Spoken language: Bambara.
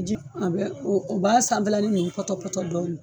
Ji a bɛ o b'a sanfɛlanin ni pɔtɔ pɔtɔ dɔɔni.